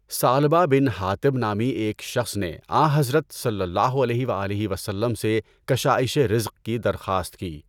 ثعلبہ بن حاطب نامی ایک شخص نے آنحضرت صلی اللہ علیہ وآلہ وسلم سے کشائشِ رزق کی درخواست کی۔